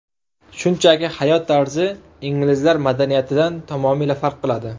Shunchaki hayot tarzi inglizlar madaniyatidan tamomila farq qiladi.